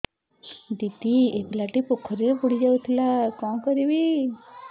ଦିଦି ଏ ପିଲାଟି ପୋଖରୀରେ ବୁଡ଼ି ଯାଉଥିଲା କଣ କରିବି